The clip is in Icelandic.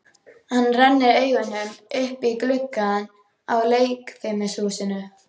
Hann rennir augunum upp í gluggana á leikfimihúsinu.